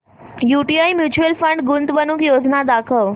UTI mutual fund गुंतवणूक योजना दाखव